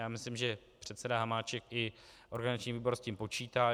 Já myslím, že předseda Hamáček i organizační výbor s tím počítají.